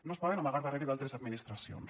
no es poden amagar darrere d’altres administracions